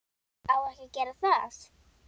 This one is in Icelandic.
Á ekki að gera það.